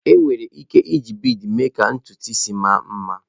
Enwere ike iji bịdị mee ka ntụntụ isi mma nma.